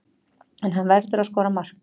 En hann verður að skora mark.